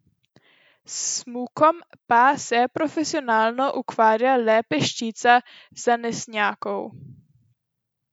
S smukom pa se profesionalno ukvarja le peščica zanesenjakov.